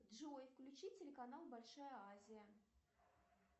джой включи телеканал большая азия